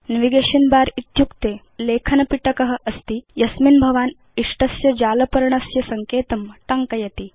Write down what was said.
navigation bar इत्युक्ते बृहत् लेखन पिटक अस्ति यस्मिन् भवान् इष्टस्य जाल पर्णस्य सङ्केतं टङ्कयति